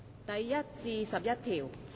第1至11條。